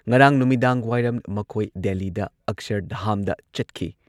ꯉꯔꯥꯡ ꯅꯨꯃꯤꯗꯥꯡꯋꯥꯏꯔꯝ ꯃꯈꯣꯏ ꯗꯦꯜꯂꯤꯗ ꯑꯛꯁꯔꯙꯥꯝꯗ ꯆꯠꯈꯤ꯫